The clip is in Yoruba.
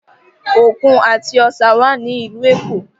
Òkun àti Ọ̀sà wà ní ìlú Èkó